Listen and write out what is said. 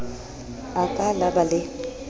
a ka la ba le